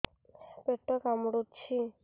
ପେଟ କାମୁଡୁଛି